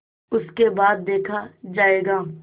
उसके बाद देखा जायगा